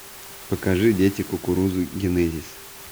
покажи дети кукурузы генезис